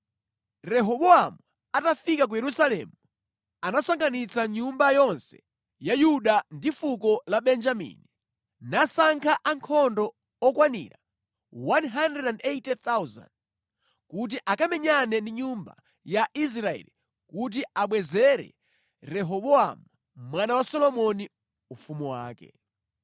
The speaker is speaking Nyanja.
Rehobowamu atafika ku Yerusalemu, anasonkhanitsa nyumba yonse ya Yuda ndi fuko la Benjamini, nasankha ankhondo okwanira 180,000, kuti akamenyane ndi nyumba ya Israeli kuti amubwezere Rehobowamu mwana wa Solomoni ufumu wake.